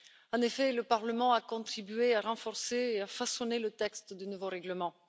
En effet, le Parlement a contribué à renforcer et à façonner le texte du nouveau règlement.